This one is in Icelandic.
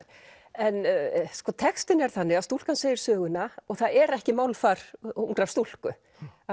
en sko textinn er þannig að stúlkan segir söguna og það er ekki málfar ungrar stúlku